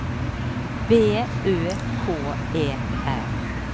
B Ø K E R